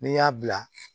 N'i y'a bila